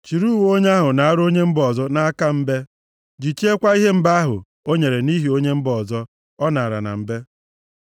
Chiri uwe onye ahụ naara onye mba ọzọ nʼaka mbe. Jichiekwa ihe mbe ahụ o nyere nʼihi onye mba ọzọ ọ nara na mbe.